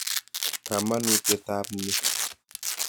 Kamanutiet ap ni.